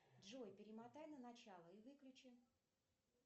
джой перемотай на начало и выключи